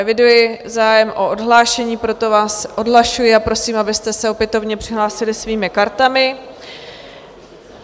Eviduji zájem o odhlášení, proto vás odhlašuji a prosím, abyste se opětovně přihlásili svými kartami.